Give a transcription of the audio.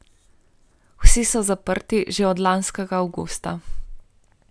Vsi so zaprti že od lanskega avgusta.